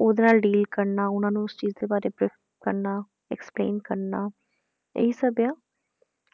ਉਹਦੇ ਨਾਲ deal ਕਰਨਾ, ਉਹਨਾਂ ਨੂੰ ਉਸ ਚੀਜ਼ ਦੇ ਬਾਰੇ brief ਕਰਨਾ explain ਕਰਨਾ ਇਹੀ ਸਭ ਆ,